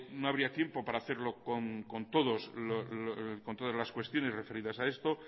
no habría tiempo para hacerlo con todas las cuestiones referidas a esto